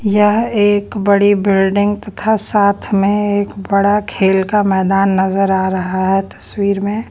यह एक बड़ी बिल्डिंग तथा साथ में एक बड़ा खेल का मैदान नजर आ रहा है तस्वीर में।